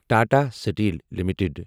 Tata steel limited